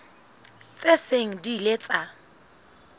tse seng di ile tsa